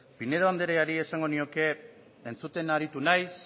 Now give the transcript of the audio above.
pinedo andreari esango nioke entzuten aritu naiz